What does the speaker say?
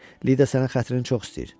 Lida sənin xətrini çox istəyir.